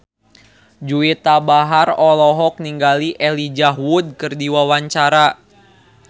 Juwita Bahar olohok ningali Elijah Wood keur diwawancara